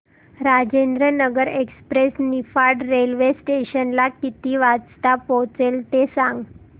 Rajendranagar express Niphad railway station ला किती वाजता पोहचते ते सांग